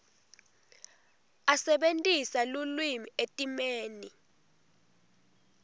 asebentisa lulwimi etimeni